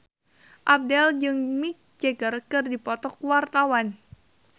Abdel jeung Mick Jagger keur dipoto ku wartawan